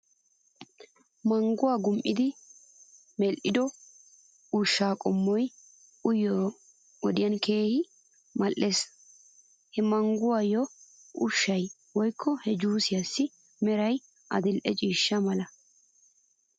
Mangguwaa gum'idi medhdhido ushaa qommoy uyiyoo wodiyan keehi mal'es. He mangguwaa ushshay woykko he juussiyaassi meray adil'e ciishsha mala .